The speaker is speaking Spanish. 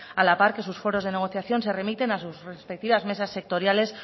a la par que sus foros de negociación se remiten a sus respectivas mesas sectoriales